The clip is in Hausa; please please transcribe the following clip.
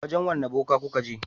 Wajen wane boka kuka je?